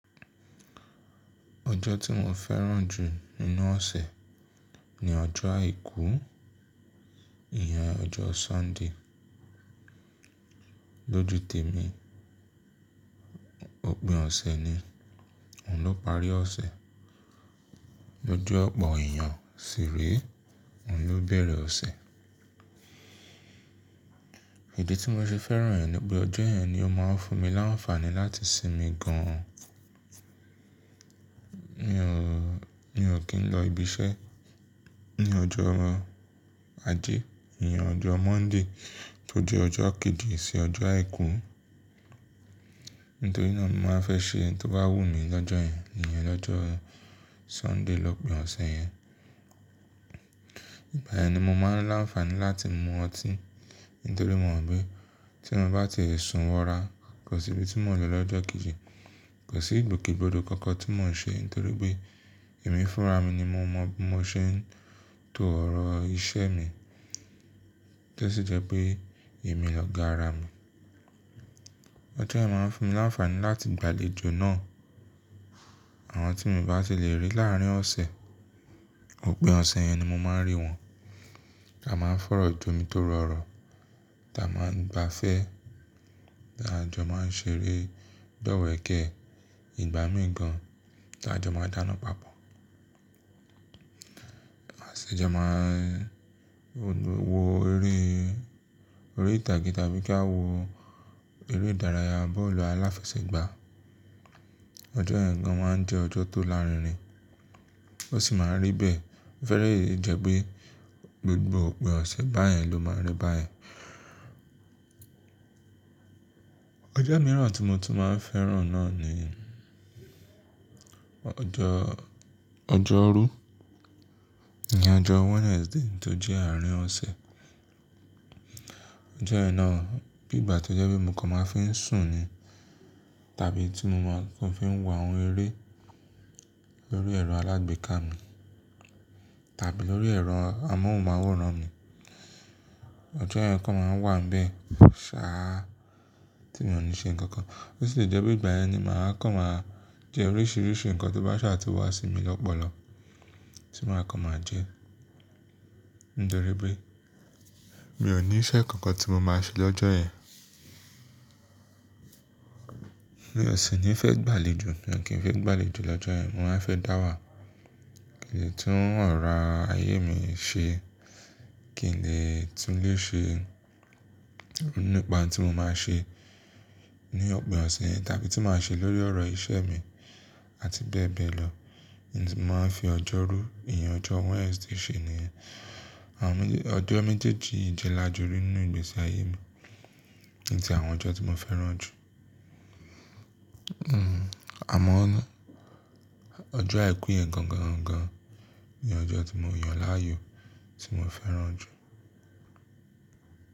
Ọjọ́ tí mo fẹ́ràn jù nínú ọ̀sẹ̀ ni ọjọ́ àìkú, ìyẹn ọjọ́ Sọ́ńdè. Lójú tèmi, òpin ọ̀sẹ̀ ni, òun ló parí ọ̀sẹ̀. Lójú ọ̀pọ̀ èèyàn sì rèé, òun ló bẹ̀rẹ̀ ọ̀sẹ̀. Ìdí tí mo ṣe fẹ́ràn ẹ ni pé ọjọ́ yẹn ni ó máa ń fún mi láǹfààní láti sinmi gan. Mi ò, mi ò kí ń lọ ibi iṣẹ́ ní ọjọ́ ajé, ìyẹn ọjọ́ Mọ́ńdè tó jẹ́ ọjọ́ kejì sí ọjọ́ àìkú. Nítorí náà mi máa fẹ́ ṣe ohun tó bá wù mí lọ́jọ́ yẹn, ìyẹn lọ́jọ́ Sọ́ńdè, lọ́pìn ọ̀sẹ̀ yẹn. Ìgbà yẹn ni mo máa ń láǹfààní láti mu ọtí. Nítorí mo mọ̀ pé tí mo bá ti sun wọra, kò sí ibi tí mò ń lọ lọ́jọ́ kejì, kò sí ìgbòkègbodò kankan tí mò ń ṣe nítorí pé èmi fúnra mi ni mo mọ, mo ṣe ń to ọ̀rọ̀ iṣẹ́ mi. Tó sí jẹ́ pé èmi lọ ga ara mi. Ọjọ́ yẹn máa ń fún mi láǹfààní láti gbàlejò náà. Àwọn tí mi ò bá ti lè rí láàárín ọ̀sẹ̀, òpin ọ̀sẹ̀ yẹn ni mo máa ń rí wọn. A máa ń fọ̀rọ̀ jomitoro ọ̀rọ̀, ta máa ń gbafẹ́, a jọ máa ń ṣeré, dọ́wẹ̀kẹ́, ìgbá míì gan, a jọ máa ń dáná papọ̀. A sì jọ máa ń wo eré, eré orí ìtàgé tàbí kí a wo eré ìdárayá, bọ́ọ̀lù aláfẹsẹ̀gbá. Ọjọ́ yẹn gan máa ń jẹ́ ọjọ́ tó lárinrin, ó sì máa ń rí bẹ́ẹ̀. Ó lè jẹ́ pé gbogbo òpin ọ̀sẹ̀ báyẹn ló máa ń rí báyẹn. Ọjọ́ mìíràn tí mo tún máa ń fẹ́ràn náà ni ọjọ́, ọjọ́rú, ìyẹn ọjọ́ Wednesday tó jẹ́ àárín ọ̀sẹ̀. Ọjọ́ yẹn náà bí ìgbà tí ó jẹ́ pé mo kàn máa ń fi ń sùn ni tàbí tí mo máa kọ́ fi ń wo àwọn eré lórí ẹ̀rọ alágbèéká mi tàbí lórí ẹ̀rọ amóhùnmáwòrán mi. Ọjọ́ yẹn kàn máa ń wà níbẹ̀, ṣáá tí mò ní ṣe nǹkankan. Ó sì lè jẹ́ pé ìgbà yẹn ni màá kàn máa jẹ oríṣiríṣi nǹkan tó bá ṣáà tó wà sí mi lọ́pọlọ tí màá kàn máa jẹ. Nítorí pé mi ò ní iṣẹ́ kankan tí mo máa ṣe lọ́jọ́ yẹn. Mi ò sì ní fẹ́ gbàlejò, mo kí ń fi gbàlejò lọ́jọ́ yẹn, mo máa ń fẹ́ dá wà. Kì ń lè tún ọ̀rọ̀ ayé mi ṣe, kì ń lè túnlé ṣe nípa ohun tí mo máa ṣe ní òpin ọ̀sẹ̀ yẹn tàbí tí màá ṣe lórí ọ̀rọ̀ ìṣe mi àti bẹ́ẹ̀ bẹ́ẹ̀ lọ. Ohun tí màá fi ọjọ́rú, ìyẹn ọjọ́ Wednesday ṣe ni? Àwọn méje, ọjọ́ méjèèjì ìjẹlájọrí nínú ìgbésí ayé mi ni tí àwọn ọjọ́ tí mo fẹ́ràn jù. Hmm, àmọ́ ọjọ́ àìkú yẹn gan gan gan ni ọjọ́ tí mo yàn láàyò tí mo fẹ́ràn jù.